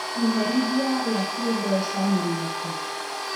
Iherithia rĩa kĩmbeca nĩ rĩrĩkũ